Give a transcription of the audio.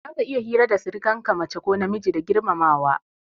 Za ka iya hira da sirikan ka mace ko namiji da girmamawa.